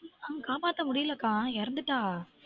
காப்பாத்த முடியலக்கா எறந்துட்டா